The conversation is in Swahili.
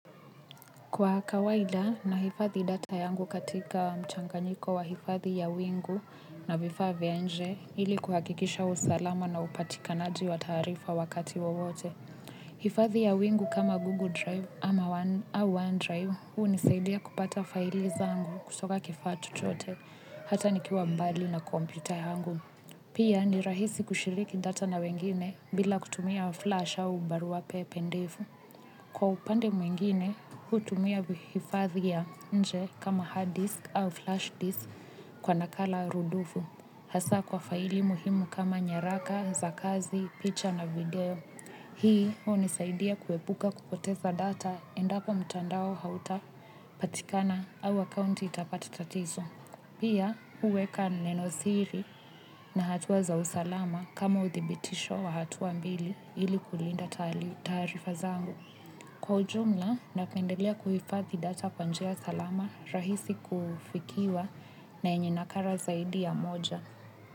Kwa kawaida nahifathi data yangu katika mchanganyiko wa hifadhi ya wingu na vifaa vya nje ili kuhakikisha usalama na upatikanaji wa taarifa wakati wowote. Hifadhi ya wingu kama Google Drive au OneDrive hunisaidia kupata file zangu kutoka kifaa chochote hata nikiwa mbali na kompyuta yangu. Pia ni rahisi kushiriki data na wengine bila kutumia flash au barua pepe ndefu. Kwa upande mwingine, hutumia hifadhi ya nje kama hard disk au flash disk kwa nakala rudufu. Hasa kwa faili muhimu kama nyaraka za kazi, picture na video. Hii, hunisaidia kuepuka kupoteza data endapo mtandao hauta patikana au account itapata tatizo. Pia, huweka neno siri na hatua za usalama kama uthibitisho wa hatua mbili ili kulinda taarifa zangu. Kwa ujumla napendelea kuhifadhi data kwa njia salama rahisi kufikiwa na yenye nakala zaidi ya moja.